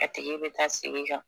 a tigi bɛ taa sigi kan